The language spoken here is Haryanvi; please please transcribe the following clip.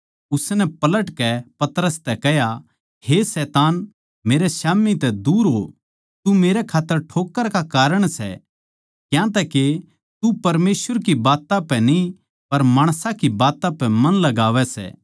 उसनै पलटकै पतरस तै कह्या हे शैतान मेरै स्याम्ही तै दूर हो तू मेरै खात्तर ठोक्कर का कारण सै क्यांतैके तू परमेसवर की बात्तां पै न्ही पर माणसां की बात्तां पै मन लगावै सै